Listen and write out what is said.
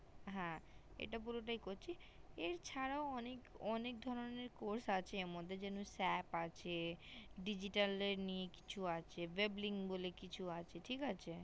হ্যা এটা পুরোটাই করছি এর ছাড়াও অনেক ধরণের course আছে এর মধ্যে shape আছে digital নিয়ে কিছু আছে dribbling বলে কিছু আছে ঠিক আছে